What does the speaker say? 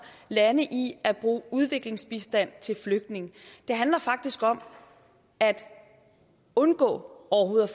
lande i at bruge udviklingsbistand til flygtninge det handler faktisk om at undgå overhovedet